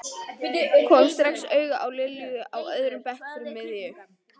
Kom strax auga á Lilju á öðrum bekk fyrir miðju.